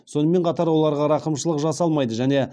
сонымен қатар оларға рақымшылық жасалмайды және